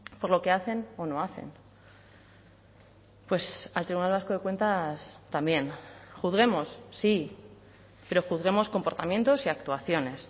por lo que hacen o no hacen pues al tribunal vasco de cuentas también juzguemos sí pero juzguemos comportamientos y actuaciones